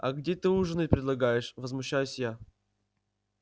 а где ты ужинать предлагаешь возмущаюсь я